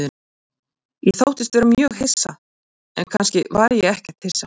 Ég þóttist vera mjög hissa, en kannski var ég ekkert hissa.